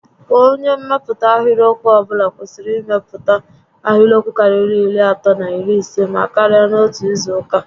Kwa onyé mmepụta ahịrịokwu ọbụla kwesịrị imepụta ahịrịokwu karịrị iri atọ na iri isé maa karịa n'otu izu uka